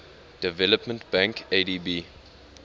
development bank adb